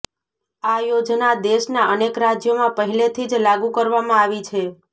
આ યોજના દેશના અનેક રાજ્યોમાં પહેલેથી જ લાગુ કરવામાં આવી છે